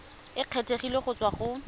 e kgethegileng go tswa go